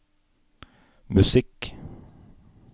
musikk